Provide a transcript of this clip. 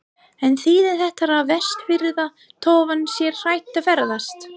En þýðir þetta að vestfirska tófan sé hætt að ferðast?